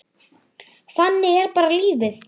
Þannig er bara lífið.